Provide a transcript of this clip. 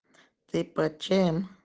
ты под чем